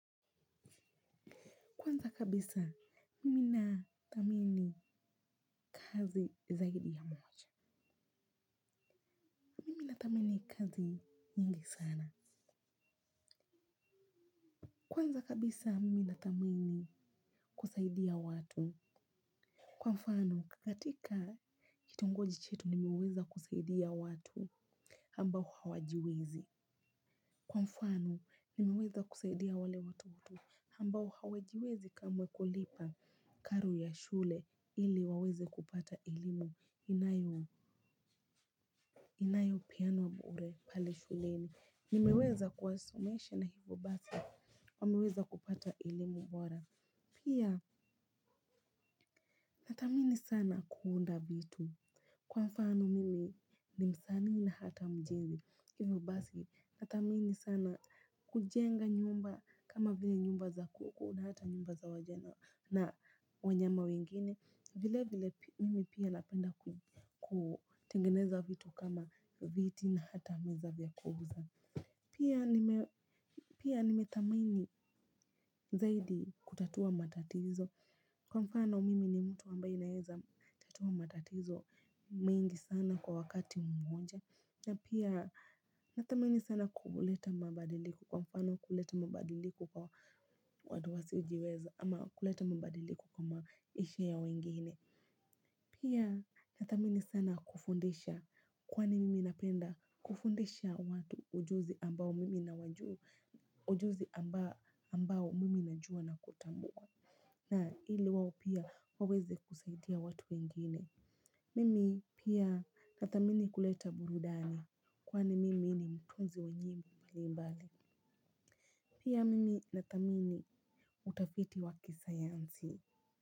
Kwanza kabisa, mimi nathamini kazi zaidi ya moja. Mimi natamini kazi nyingi sana. Kwanza kabisa, miminatamini kusaidia watu. Kwa mfano, katika kitongoji chetu nimeweza kusaidia watu ambao hawajiwezi. Kwa mfano, nimiweza kusaidia wale watoto ambao hawajiwezi kama kulipa karo ya shule ili waweze kupata elimu. Inayo peana bure pale shuleni. Nimeweza kuwasomesha na hivyo basi wameweza kupata elimu bora. Pia nathamini sana kuunda vitu. Kwa mfano mimi ni msanii na hata mjini. Hivyo basi nathamini sana kujenga nyumba. Kama vile nyumba za kuku na hata nyumba za wajena na wanyama wengine. Vile vile mimi pia napenda kutengeneza vitu. Kama viti na hata meza vya kuuza. Pia nimethamini zaidi kutatua matatizo. Kwa mfano mimi ni mtu amabaye naeza tatua matatizo mingi sana kwa wakati mmonja na pia nathamini sana kuleta mabadiliko. Kwa mfano kuleta mabadiliko kwa watu wasiojiweza ama kuleta mabadiliko kwa maisha ya wengine. Pia nathamini sana kufundisha kwani mimi napenda kufundisha watu ujuzi ambao mimi na wajua ujuzi ambao mimi najua na kutambua na ili wao pia waweze kusaidia watu wengine. Mimi pia nathamini kuleta burudani kwani mimi ni mtunzi wa nyimbo mbalimbali. Pia mimi nathamini utafiti wa kisayansi.